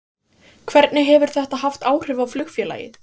Hvernig hefur þetta haft áhrif á flugfélagið?